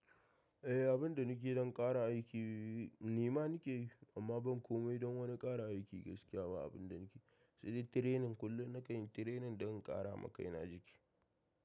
Eh, abin da nike don ƙara aiki ni ma nike yi amma ban komai don wani ƙara aiki gaskiya ba abin da nike sai dai training. Kullum na kan yi training don in ƙara ma kaina jiki.